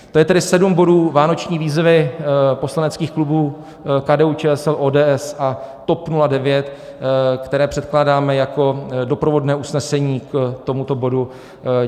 To je tedy sedm bodů vánoční výzvy poslaneckých klubů KDU-ČSL, ODS a TOP 09, které předkládáme jako doprovodné usnesení k tomuto bodu.